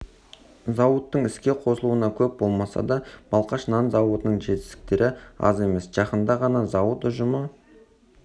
зауыттың іске қосылғанына көп болмаса да балқаш нан зауытының жетістіктері аз емес жақында ғана зауыт ұжымы